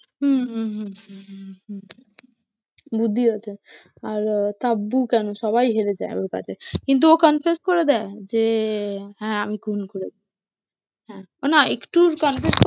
হম হম হম হম হম বুদ্ধি আছে, আর আহ তাব্বু কেন সবাই হেরে যায় ওর কাছে, কিন্তু ও confess করে দেয়, যে হ্যাঁ আমি খুন করেছি হ্যাঁ, ও না একটুর confess